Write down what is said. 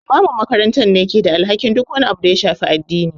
Limamin makaranta ne ke da alhakin duk wani abu da ha shafi addini.